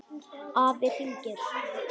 Afi hringir